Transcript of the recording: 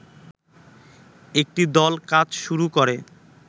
একটি দল কাজ শুরু করে